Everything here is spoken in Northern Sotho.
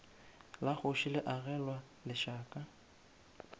la kgoši le agelwa lešaka